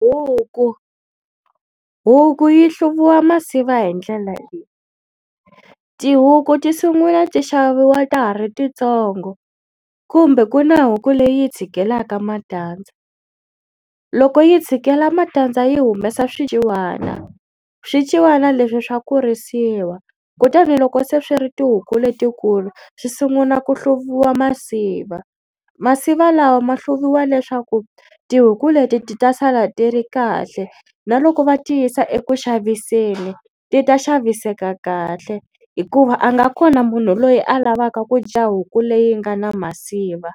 Huku huku yi hluvisiwa masiva hi ndlela leyi tihuku ti sungula ti xaviwa ta ha ri titsongo kumbe ku na huku leyi tshikelelaka matandza. Loko yi tshikela matandza yi humesa swiciwana swiciwana leswi swa kurisiwa kutani loko se swi ri tihuku letikulu swi sungula ku hluviwa masiva. Masiva lawa ma hluviwa leswaku tihuku leti ti ta sala ti ri kahle na loko va ti yisa eku xaviseni ti ta xaviseka kahle hikuva a nga kona munhu loyi a lavaka ku dya huku leyi nga na masiva.